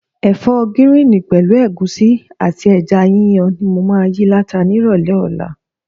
Ẹ̀fọ́ gíríìnì pẹ̀lú ẹ̀gúsí àti ẹja yíyan ni mo máa yí láta ni ìrọ̀lẹ́ ọ̀la.